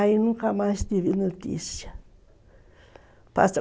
Aí nunca mais tive notícia.